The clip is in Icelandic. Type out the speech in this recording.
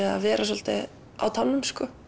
að vera á tánum